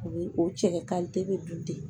O bi o cɛ ka bɛ dun ten